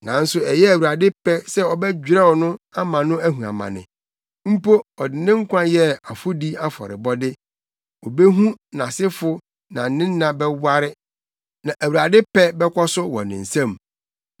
Nanso ɛyɛɛ Awurade pɛ sɛ ɔbɛdwerɛw no ama no ahu amane mpo ɔde ne nkwa yɛ afɔdi afɔrebɔde, obehu nʼasefo na ne nna bɛware, na Awurade pɛ bɛkɔ so wɔ ne nsam.